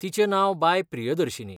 तिचे नांव बाय प्रियदर्शिनी.